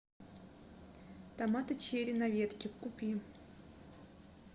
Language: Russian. томаты черри на ветке купи